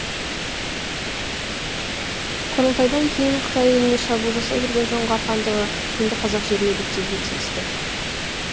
құрылтайдан кейін қытай еліне шабуыл жасай берген жоңғар хандығы енді қазақ жеріне беттеуге тиісті